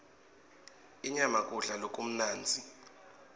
inyama kudla lokumnandzi